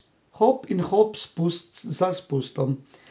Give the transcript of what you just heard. Hop in hop, spust za spustom.